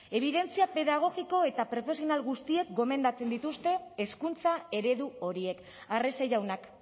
ebidentzia pedagogiko eta profesional guztiek gomendatzen dituzte hezkuntza eredu horiek arrese jaunak